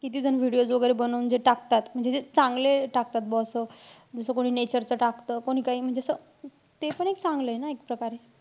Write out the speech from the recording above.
किती जण videos वैगेरे बनवून जे टाकतात म्हणजे जे चांगले टाकतात बौ असं. जस कोणी nature च टाकतं, कोणी काई. म्हणजे असं तेपण एक चांगलंय ना एक प्रकारे.